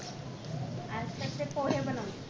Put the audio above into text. आज तर ते पोहे बनवले